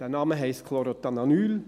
Der Name heisst «Chlorothalonil».